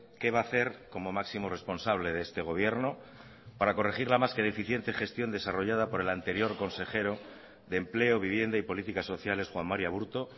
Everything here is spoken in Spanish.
qué va a hacer como máximo responsable de este gobierno para corregir la más que deficiente gestión desarrollada por el anterior consejero de empleo vivienda y políticas sociales juan mari aburto